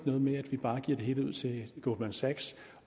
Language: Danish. noget med at vi bare giver det hele ud til goldman sachs